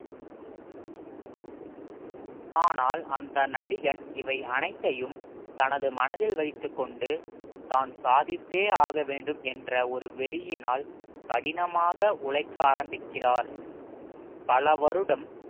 ஆனால் அந்த நடிகன் இவை அனைத்தையும் தனது மனதில் வைத்துக் கொண்டு தான் சாதித்தே ஆக வேண்டும் என்ற ஒரு வெறியினால் கடினமாக உழைக்க ஆரம்பிக்கிறார் பல வருடம்